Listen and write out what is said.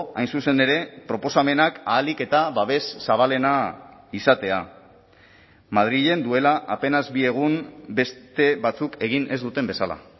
hain zuzen ere proposamenak ahalik eta babes zabalena izatea madrilen duela apenas bi egun beste batzuk egin ez duten bezala